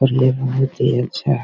और ये बहुत ही अच्छा हैं।